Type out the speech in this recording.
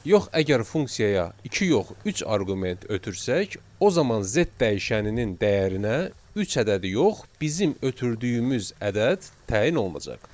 Yox əgər funksiyaya iki yox üç arqument ötürsək, o zaman Z dəyişəninin dəyərinə üç ədədi yox, bizim ötürdüyümüz ədəd təyin olunacaq.